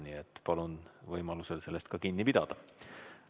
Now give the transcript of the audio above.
Nii et palun võimaluse korral sellest kinni pidada.